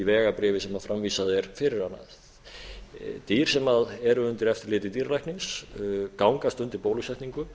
vegabréf sem framvísað er fyrir hana dýr sem eru undir eftirliti dýralæknis gangast undir bólusetningu